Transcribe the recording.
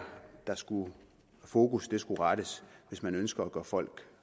fokus skal rettes hvis man ønsker at gøre folk